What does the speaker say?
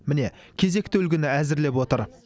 міне кезекті үлгіні әзірлеп отыр